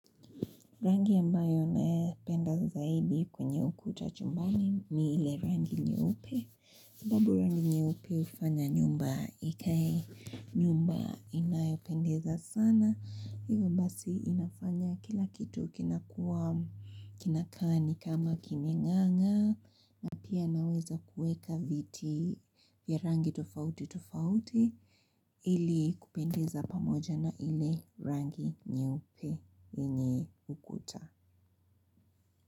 Rangi ambayo napenda zaidi kwenye ukuta chumbani ni ile rangi nyeupe. Sababu rangi nyeupe hufanya nyumba ikae nyumba inayopendeza sana. Hivyo basi inafanya kila kitu kinakuwa kinakaa ni kama kimenganga. Na pia naweza kueka viti ya rangi tofauti tofauti. Ili kupendeza pamoja na ile rangi nyeupe yenye ukuta.